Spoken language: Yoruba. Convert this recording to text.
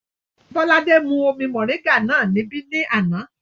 Bọ́ládé mú omi mọ̀ríńgà náà níbí ní àná